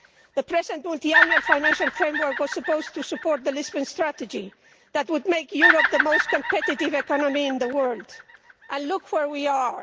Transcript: The present multiannual financial framework was supposed to support the Lisbon strategy, which would make Europe the most competitive economy in the world, and look where we are.